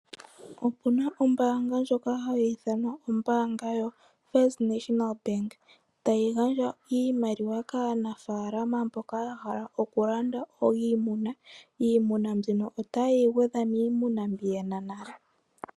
Opuna ombaanga ndjoka hayi ithanwa ombaanga yo First National Bank, hayi gandja iimaliwa kaanafaalama mboka ya hala oku landa iimuna. Iimuna mbino otaye yi gwedhwa miimuna mbi yena nale.